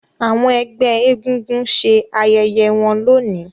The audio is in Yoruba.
àwọn egbé egúngún ṣe ayẹyẹ wón lóni.